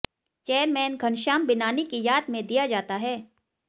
chairman Ghanshyam Binani की याद में दिया जाता है